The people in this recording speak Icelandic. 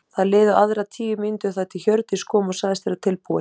Það liðu aðrar tíu mínútur þar til Hjördís kom og sagðist vera tilbúin.